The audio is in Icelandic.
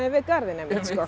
garðinn einmitt